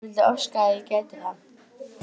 Ég vildi óska að ég gæti það.